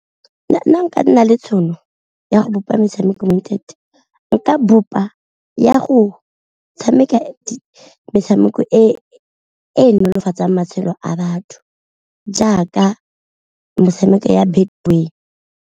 Nna fa nka nna le tšhono ya go bopa metshameko mo inthaneteng, nka bopa ya go tshameka metshameko e nolofatsang matshelo a batho jaaka metshameko ya Betway.